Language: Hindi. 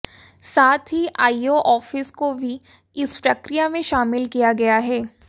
साथ ही आईओ आफिस को भी इस प्रक्रिया में शामिल किया गया है